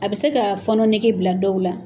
A bɛ se ka fɔɔnɔ nege bila dɔw la.